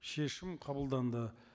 шешім қабылданды